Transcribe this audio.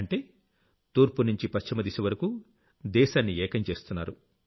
అంటే తూర్పు నుంచి పశ్చిమ దిశ వరకూ దేశాన్ని ఏకం చేస్తున్నారు